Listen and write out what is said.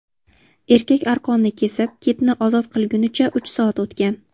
Erkak arqonni kesib, kitni ozod qilgunicha uch soat o‘tgan.